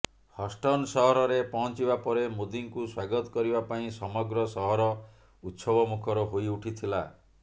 Houston ସହରରେ ପହଞ୍ଚିବା ପରେ ମୋଦିଙ୍କୁ ସ୍ୱାଗତ କରିବା ପାଇଁ ସମଗ୍ର ସହର ଉତ୍ସବମୁଖର ହୋଇଉଠିଥିଲା